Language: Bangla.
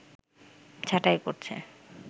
ছাঁটাই করছে